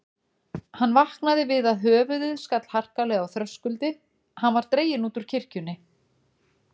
Hann vaknaði við að höfuðið skall harkalega á þröskuldi, hann var dreginn út úr kirkjunni.